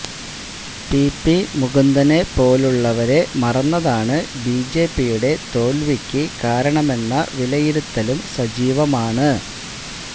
PP മുകുന്ദനെ പോലുള്ളവരെ മറന്നതാണ് ബിജെപിയുടെ തോൽവിക്ക് കാരണമെന്ന വിലയിരുത്തലും സജീവമാണ്